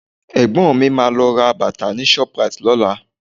Ẹ̀gbọ́n mi máa lọ ra bàtà ni shoprite lọ́la